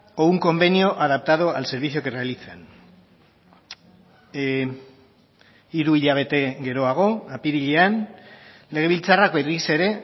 o un convenio adaptado al servicio que realizan hiru hilabete geroago apirilean legebiltzarrak berriz ere